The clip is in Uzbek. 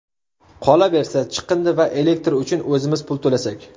Qolaversa, chiqindi va elektr uchun o‘zimiz pul to‘lasak.